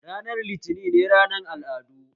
Ranar litinin ne ranar al'adu